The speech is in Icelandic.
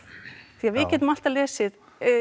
því að við getum alltaf lesið